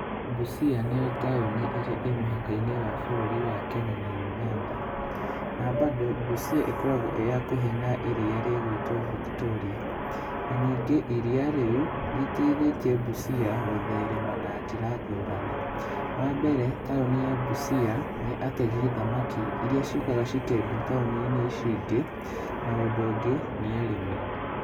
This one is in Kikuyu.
Busia nĩyo taũni ĩrĩa ĩ mũhakainĩ wa bũrũri wa Kenya na Ũganda, na bado Busia ĩkoragwo ĩhakuhĩ na irio rĩgĩtwo Victoria, na ningĩ iria rĩu nĩrĩteithĩtie Busia gũtherema na njĩra ngũrani, wambere taũni ya Busia, nĩ ategi thamaki iria ciũkaga cikendio taũninĩ ici cingĩ na ũndũ ũngĩ nĩ arĩmi.